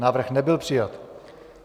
Návrh nebyl přijat.